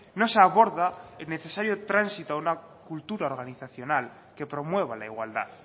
no se aborda el necesario tránsito a una cultura organizacional que promueva la igualdad